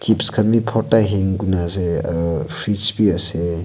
chips kan bi porta hang kurikina ase aru fridge bi ase.